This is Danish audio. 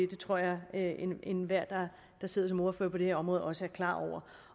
det tror jeg at enhver der sidder som ordfører på det her område også er klar over